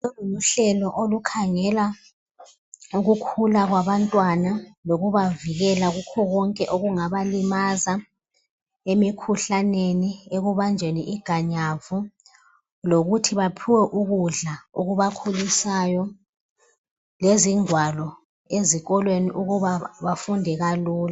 Uhlelo olukhangela ukukhula kwabantwana lokubavikela kukho konke okungabalimaza emikhuhlaneni, ekubanjweni iganyavu lokuthi baphiwe ukudla okubakhulisayo, lezingwalo ezikolweni ukuba bafunde kalula.